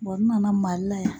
n nana Mali la yan.